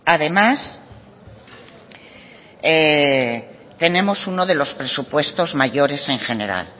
además tenemos uno de los presupuestos mayores en general